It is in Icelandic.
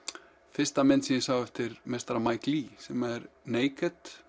fyrsta myndin sem ég sá eftir Mike Leigh sem er